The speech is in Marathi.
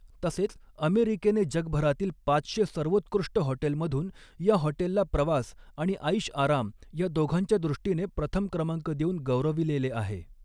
तसेच अमेरीकेने जगभरातील पाचशे सर्वोत्कृष्ट हॉटेलमधून या हॉटेलला प्रवास आणि ऐषआराम या दोघांच्या दृष्टीने प्रथम क्रमांक देऊन गौरविलेले आहे.